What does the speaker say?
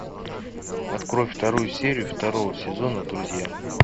открой вторую серию второго сезона друзья